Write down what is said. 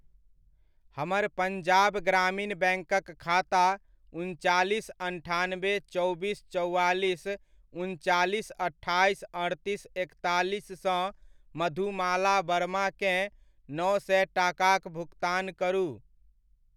हमर पंजाब ग्रामीण बैङ्कक खाता उनचालीस अन्ठानबे चौबीस चौआलीस उनचालीस अट्ठाइस अड़तीस एकतालीस सँ मधुमाला वर्मा केँ नओ सए टाकाक भुगतान करू।